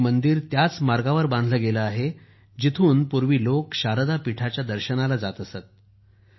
हे मंदिर त्याच मार्गावर बांधले गेले आहे जिथून पूर्वी लोक शारदा पीठाच्या दर्शनाला जात असत